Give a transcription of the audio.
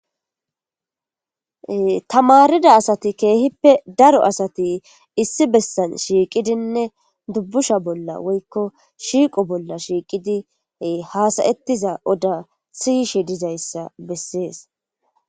Tamarida asati keehippe daro asati issi bessan shiiqidinne dubbusha bolla woykko shiiqo bolla shiiqidi haasayettiza oda siyishe dizayssa bessees.